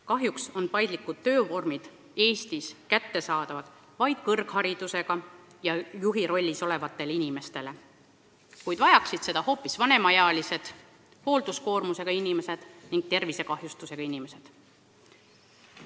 Kahjuks on paindlikud töövormid Eestis kättesaadavad vaid kõrgharidusega ja juhirollis olevatele inimestele, kuid vajaksid seda hoopis vanemaealised või hoolduskoormuse või tervisekahjustusega inimesed.